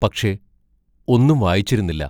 പക്ഷേ, ഒന്നും വായിച്ചിരുന്നില്ല.